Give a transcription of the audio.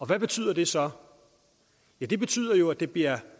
hvad betyder det så ja det betyder jo at det bliver